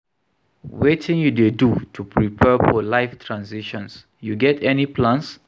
wetin you dey do to prepare for life transitions, you get any plans?